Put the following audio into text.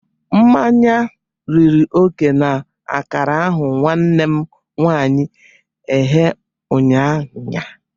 Mmanya riri oke na akara ahu nwannem nwanyi eghe unyanya.